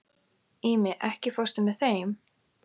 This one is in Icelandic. Ími, ekki fórstu með þeim?